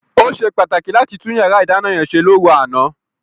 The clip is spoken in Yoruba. Ó ṣe pàtàkì láti tún yàrá ìdáná yẹn ṣe lóru àná.